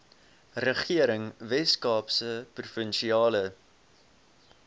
regering weskaapse provinsiale